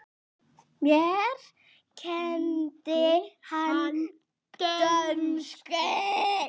Mér kenndi hann dönsku.